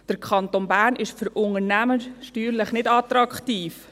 Der Kanton Bern ist für Unternehmen steuerlich nicht attraktiv.